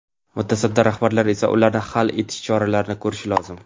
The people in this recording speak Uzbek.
Mutasaddi rahbarlar esa ularni hal etish choralari ko‘rishi lozim.